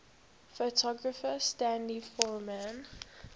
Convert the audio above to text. photographer stanley forman